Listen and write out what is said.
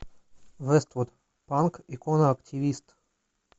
вествуд панк икона активист